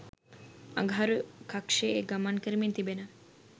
අඟහරු කක්ෂයේ ගමන් කරමින් තිබෙන